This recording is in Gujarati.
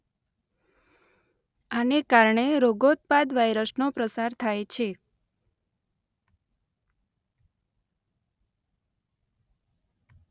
આને કારણે રોગોત્પાદ વાઇરસ નો પ્રસાર થાય છે.